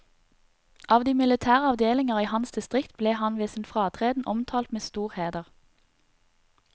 Av de militære avdelinger i hans distrikt ble han ved sin fratreden omtalt med stor heder.